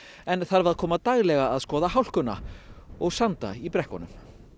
en þarf að koma daglega að skoða hálkuna og sanda í brekkunum